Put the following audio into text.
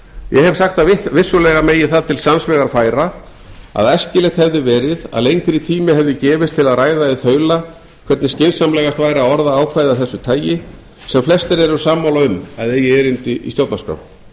ég hef sagt að vissulega megi það til sanns vegar færa að æskilegt hefði verið að lengri tími hefði gefist til að ræða í þaula hvernig skynsamlegast væri að orða ákvæði af þessu tagi sem flestir eru sammála um að eigi erindi í stjórnarskrá á hitt ber